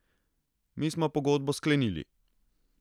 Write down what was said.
Mi smo pogodbo sklenili.